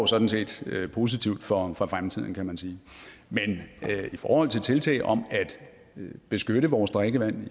sådan set positivt for for fremtiden kan man sige men i forhold til tiltag om at beskytte vores drikkevand